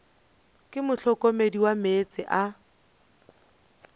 ke mohlokomedi wa meetse a